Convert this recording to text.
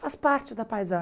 Faz parte da